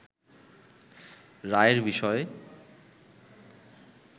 রায়ের বিষয়ে